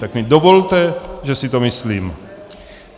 Tak mi dovolte, že si to myslím.